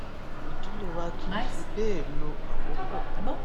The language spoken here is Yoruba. ìdílé wa kì í fi béè lo àkókò